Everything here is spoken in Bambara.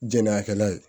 Jɛnn'a kɛla ye